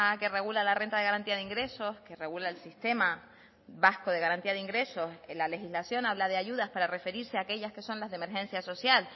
que regula la renta de garantía de ingresos que regula el sistema vasco de garantía de ingresos en la legislación habla de ayudas para referirse aquellas que son las de emergencia social